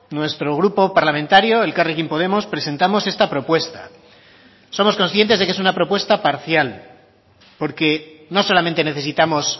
nuestro grupo parlamentario elkarrekin podemos presentamos esta propuesta somos conscientes de que es una propuesta parcial porque no solamente necesitamos